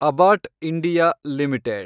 Abbott India limited